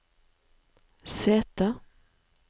sete